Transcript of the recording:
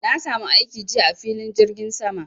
Na samu aiki jiya a filin jirgin sama